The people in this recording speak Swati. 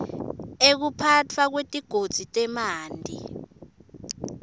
ekuphatfwa kwetigodzi temanti